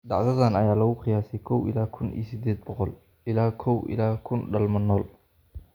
Dhacdadan ayaa lagu qiyaasay kow ila kuun iyo sided boqol ilaa kow ila kun dhalmo nool.